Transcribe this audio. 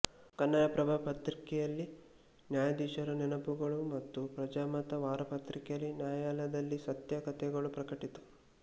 ಕನ್ನಡಪ್ರಭ ಪತ್ರಿಕೆಯಲ್ಲಿ ನ್ಯಾಯಾಧಿಶರ ನೆನಪುಗಳು ಮತ್ತು ಪ್ರಜಾಮತ ವಾರಪತ್ರಿಕೆಯಲ್ಲಿ ನ್ಯಾಯಾಲಯದಲ್ಲಿ ಸತ್ಯ ಕಥೆಗಳು ಪ್ರಕಟಿತ